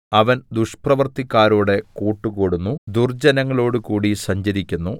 അവൻ ദുഷ്പ്രവൃത്തിക്കാരോട് കൂട്ടുകൂടുന്നു ദുർജ്ജനങ്ങളോടുകൂടി സഞ്ചരിക്കുന്നു